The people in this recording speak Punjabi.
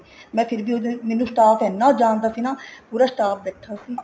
ਮੈਂ ਫ਼ੇਰ ਵੀ ਉਹਦੇ ਮੈਨੂੰ ਸਟਾਫ਼ ਇੰਨਾ ਜਾਣਦਾ ਸੀ ਨਾ ਪੂਰਾ staff ਬੈਠਾ ਸੀ